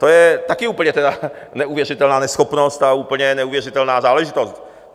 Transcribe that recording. To je také úplně tedy neuvěřitelná neschopnost a úplně neuvěřitelná záležitost!